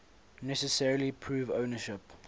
necessarily prove ownership